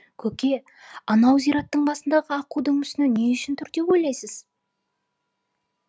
көке анау зираттың басындағы аққудың мүсіні не үшін тұр деп ойлайсыз